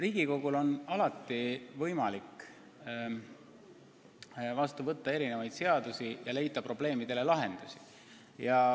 Riigikogul on võimalik vastu võtta mitmesuguseid seadusi ja probleemidele lahendusi leida.